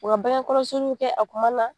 U ka bange kɔlɔsiliw kɛ a kuma na